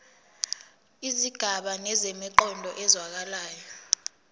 izigaba zinemiqondo ezwakalayo